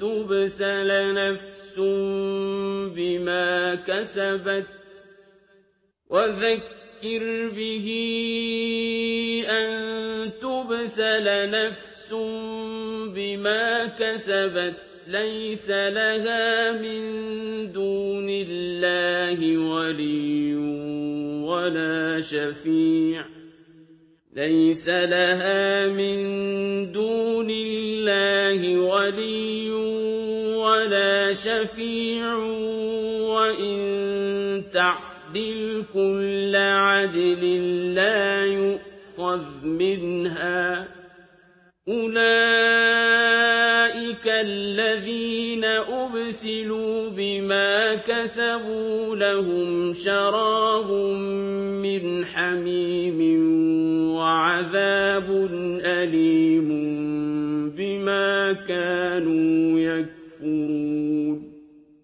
تُبْسَلَ نَفْسٌ بِمَا كَسَبَتْ لَيْسَ لَهَا مِن دُونِ اللَّهِ وَلِيٌّ وَلَا شَفِيعٌ وَإِن تَعْدِلْ كُلَّ عَدْلٍ لَّا يُؤْخَذْ مِنْهَا ۗ أُولَٰئِكَ الَّذِينَ أُبْسِلُوا بِمَا كَسَبُوا ۖ لَهُمْ شَرَابٌ مِّنْ حَمِيمٍ وَعَذَابٌ أَلِيمٌ بِمَا كَانُوا يَكْفُرُونَ